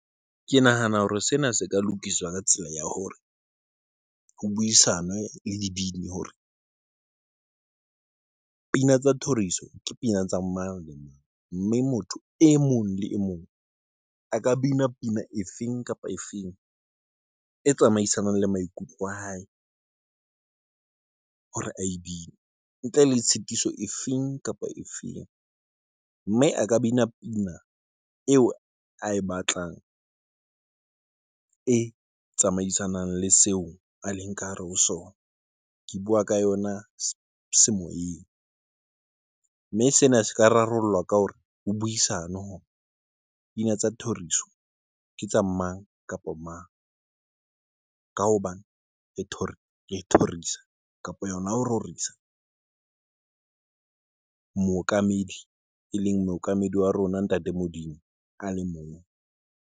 Ke nahana hore sena se ka lokiswa ka tsela ya hore ho buisanwe le dibini hore pina tsa thoriso ke pina tsa mang le mang mme motho e mong le e mong a ka bina pina e feng kapa efeng e tsamaisanang le maikutlo a hae hore a bine ntle le tshitiso efeng kapa efeng, mme a ka bina pina eo ae batlang e tsamaisanang le seo a leng ka hare ho sona. Ke buwa ka yona se moyeng mme sena se ka rarollwa ka hore ho buisanwe hore dipina tsa thoriso ke tsa mang kapa mang ka hobane thoriso kapa yona ho rorisa mookamedi e leng mookamedi wa rona ntate Modimo ale mong.